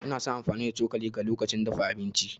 Ina son amfani da cokalin ga lokacin dafa abinci.